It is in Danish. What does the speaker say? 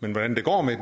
men hvordan det går med